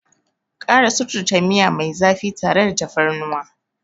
Ƙara suturta miya mai zafi tare da tafarnuwa.